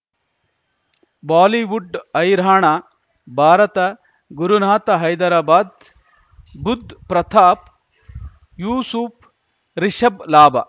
Bollywood ಹೈರಾಣ ಭಾರತ ಗುರುನಾಥ ಹೈದರಾಬಾದ್ ಬುಧ್ ಪ್ರತಾಪ್ ಯೂಸುಫ್ ರಿಷಬ್ ಲಾಭ